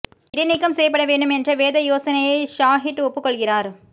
இடைநீக்கம் செய்யப்பட வேண்டும் என்ற வேதா யோசனையை ஸாஹிட் ஒப்புக் கொள்கிறார்